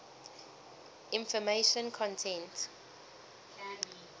information content